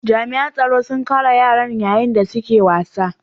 Jami'an tsaro sun kare yaran yayin da suke wasa.